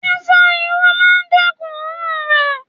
Sísá Irú máa dẹ́kun oòrùn rè.